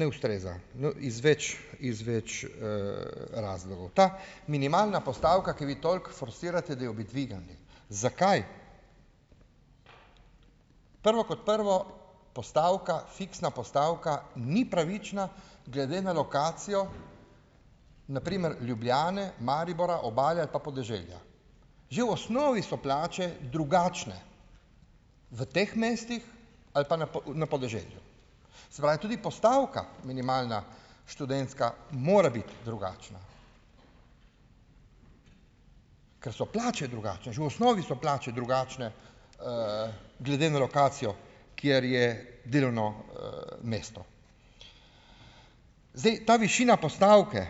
ne ustreza, no, iz več iz več, razlogov. Ta minimalna postavka, ki jo vi toliko forsirate, da jo bi dvignili - zakaj? Prvo kot prvo, postavka, fiksna postavka ni pravična glede na lokacijo, na primer, Ljubljane, Maribora, Obale ali pa podeželja. Že v osnovi so plače drugačne v teh mestih ali pa na, v, na podeželju. Se pravi, tudi postavka minimalna študentska mora biti drugačna, ker so plače drugačne, že v osnovi so plače drugačne, glede na lokacijo, kjer je delovno, mesto. Zdaj, ta višina postavke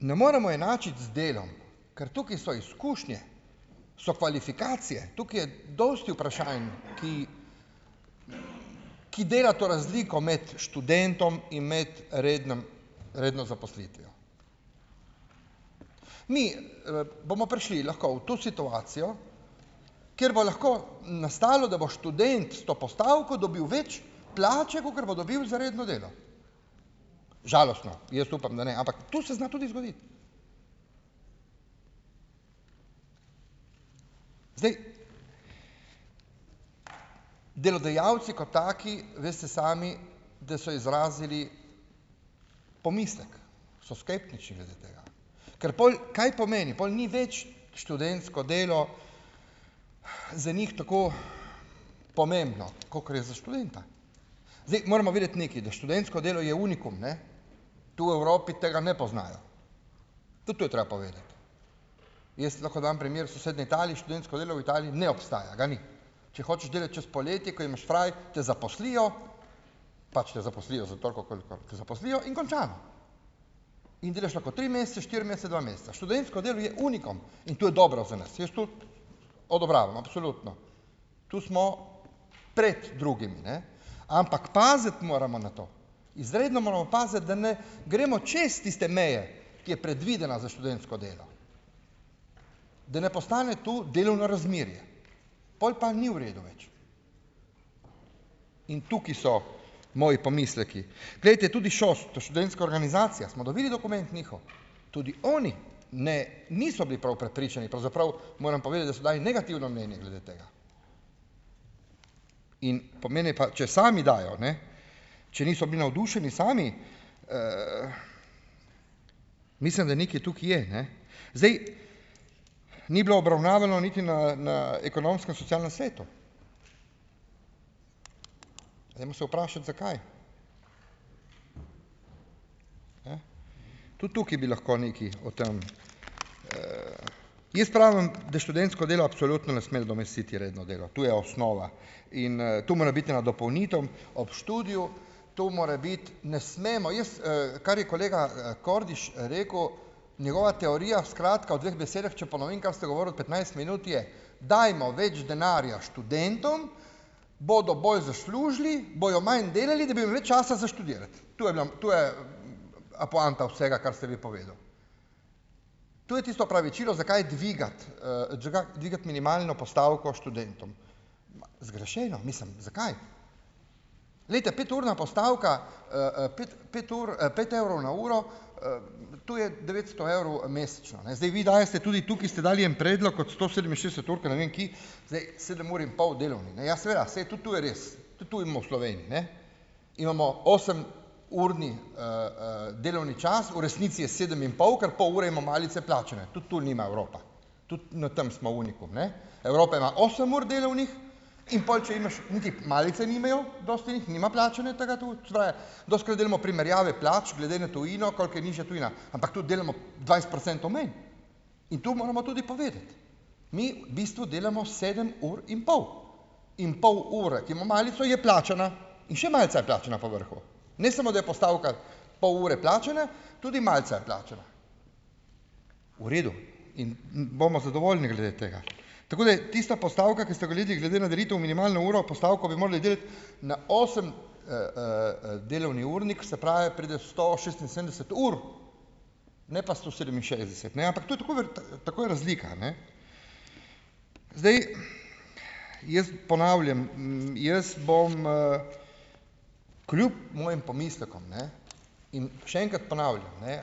ne moremo enačiti z delom, ker tukaj so izkušnje, so kvalifikacije, tukaj je dosti vprašanj, ki ki dela to razliko med študentom in med rednim, redno zaposlitvijo. Mi, bomo prišli lahko v to situacijo, kjer bo lahko nastalo, da bo študent s to postavko dobil več plače, kakor bo dobil za redno delo. Žalostno, jaz upam, da ne, ampak to se zna tudi zgoditi. Delodajalci kot taki, veste sami, da so izrazili pomislek, so skeptični glede tega. Ker pol, kaj pomeni? Pol ni več študentsko delo za njih tako pomembno, kakor je za študenta. Zdaj, moramo vedeti nekaj, da študentsko delo je unikum, ne, tu v Evropi tega ne poznajo. Tudi to je treba povedati, jaz lahko dam primer sosednje Italije, študentsko delo v Italiji ne obstaja, ga ni. Če hočeš delati čez poletje, ko imaš fraj, te zaposlijo, pač te zaposlijo za toliko, kolikor te zaposlijo, in končano. In delaš lahko tri mesece, štiri mesece, dva meseca. Študentsko delo je unikum in to je dobro za nas. Jaz to odobravam, absolutno. Tu smo pred drugimi, ne, ampak paziti moramo na to. Izredno moramo paziti, da ne gremo čez tiste meje, ki je predvidena za študentsko delo. Da ne postane to delovno razmerje, pol pa ni v redu več. In tukaj so moji pomisleki. Glejte, tudi ŠOS, so študentska organizacija, smo dobili dokument njihov. Tudi oni, ne, niso bili prav prepričani, pravzaprav moram povedati, da so dali negativno mnenje glede tega. In pomeni pa, če sami dajo, ne, če niso bili navdušeni sami, mislim, da nekaj tukaj je, ne. Zdaj, ni bilo obravnavano niti na na ekonomsko-socialnem svetu. Dajmo se vprašati, zakaj. Tudi tukaj bi lahko nekaj o tem. Jaz pravim, da študentsko delo absolutno ne sme nadomestiti redno delo. Tu je osnova in, to mora biti ena dopolnitev ob študiju. To more biti, ne smemo. Jaz, kar je kolega, Kordiš, rekel, njegova teorija, skratka v dveh besedah, če ponovim, kar ste govorili petnajst minut, je, dajmo več denarja študentom, bodo bolj zaslužili, bojo manj delali, da bojo več časa za študirati. To je bila, to je, poanta vsega, kar ste vi povedali. To je tisto opravičilo, zakaj dvigati, zakaj dvigati minimalno postavko študentom. Zgrešeno, mislim zakaj? Glejte, peturna postavka, pet, pet ur, pet evrov na uro, to je devetsto evrov mesečno, ne. Zdaj, vi dajete, tudi tukaj ste dali en predlog od sto sedeminšestdeset ur, ko ne vem kje, zdaj sedem ur in pol delovni, ne, ja, seveda, saj tudi to je res, tudi to imo v Sloveniji. Ne, imamo osem- urni, delovni čas, v resnici je sedem in pol ker pol ure ima malice plačane. Tudi to nima Evropa. Tudi na tem smo unikum ne. Evropa ima osem ur delovnih, in pol če imaš, niti malice nimajo, dosti jih nima plačane, tega tu, se pravi, dostikrat delamo primerjave plač glede na tujino, koliko je nižja tujina, ampak tudi delamo dvajset procentov manj in to moramo tudi povedati. Mi v bistvu delamo sedem ur in pol, in pol ure, ki ima malico, je plačana in še malica je plačana po vrhu, ne samo, da je postavka pol ure plačana, tudi malica je plačana. V redu. In bomo zadovoljni glede tega. Tako da tista postavka, ki ste jo omenili glede na delitev minimalno uro postavko, bi morali delati na osem, delovni urnik, se pravi, pride sto šestinsedemdeset ur, ne pa sto sedeminšestdeset, ne, ampak to je takoj takoj je razlika, ne. Zdaj, jaz ponavljam, jaz bom, kljub mojim pomislekom, ne, in še enkrat ponavljam, ne,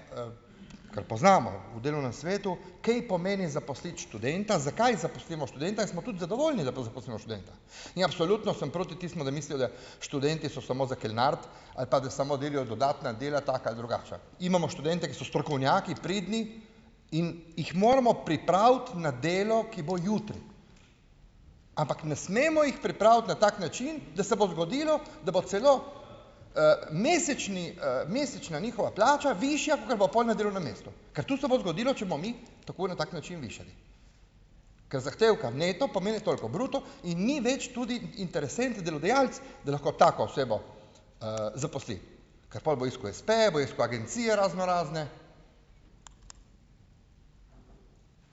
ker poznamo, v delovnem svetu, kaj pomeni zaposliti študenta, zakaj zaposlimo študenta in smo tudi zadovoljni, zato da zaposlimo študenta. In absolutno sem proti tistim, da mislijo, da študentje so samo za kelnariti ali pa da samo delajo dodatna dela taka ali drugačna. Imamo študente, ki so strokovnjaki, pridni, in jih moramo pripraviti na delo, ki bo jutri, ampak ne smemo jih pripraviti na tak način, da se bo zgodilo, da bo celo, mesečni, mesečna njihova plača višja kakor pa pol na delovnem mestu, ker to se bo zgodilo, če bomo mi tako na tak način višali. Ker zahtevka neto pomeni toliko bruto in ni več tudi interesent delodajalec, da lahko tako osebo, zaposli, ker pol bo iskal espeje, bo iskal agencije raznorazne,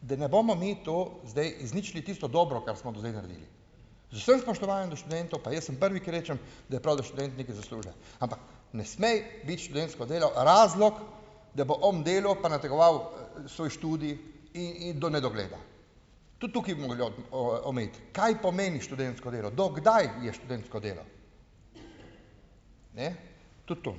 da ne bomo mi to zdaj izničili tisto dobro, kar smo do zdaj naredili. Z vsem spoštovanjem do študentov, pa jaz sem prvi, ki rečem, da je prav, da študent nekaj zasluži, ampak ne sme biti študentsko delo razlog, da bo on delal pa nategoval svoj študij do nedogleda. Tudi tukaj bi mogli omejiti, kaj pomeni študentsko delo, do kdaj je študentsko delo. Ne, tudi to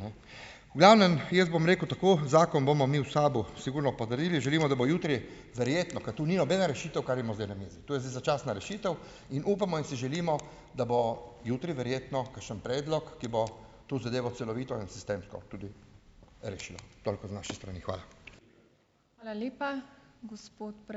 ne v glavnem, jaz bom rekel tako, zakon bomo mi v SAB-u sigurno potrdili. Želimo, da bo jutri, verjetno ker to ni nobena rešitev, kar imamo zdaj na mizi. To je zdaj začasna rešitev in upamo in si želimo, da bo jutri verjetno kakšen predlog, ki bo to zadevo celovito in sistemsko tudi rešil. Toliko z naše strani. Hvala.